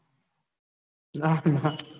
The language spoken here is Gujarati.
ના ના